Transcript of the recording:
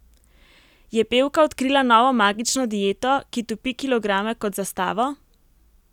Je pevka odkrila novo magično dieto, ki topi kilograme kot za stavo?